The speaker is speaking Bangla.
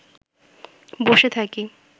বসে থাকি